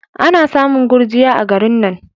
Ana samun gurjiya a garin nan.